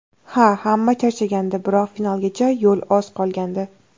Ha, hamma charchagandi, biroq finalgacha yo‘l oz qolgandi.